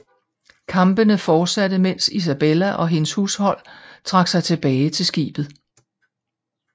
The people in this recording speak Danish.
Kampene fortsatte mens Isabella og hendes hushold trak sig tilbage til skibet